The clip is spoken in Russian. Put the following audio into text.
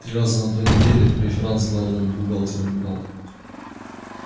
три раза на той неделе в преферанс с главным бухгалтером играл